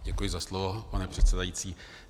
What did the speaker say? Děkuji za slovo, pane předsedající.